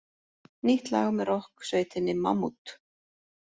Nýtt lag með rokksveitinni Mammút